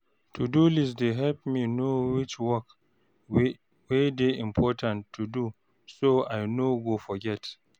to-do-list app dey help me know which work wey dey important to do so I no go forget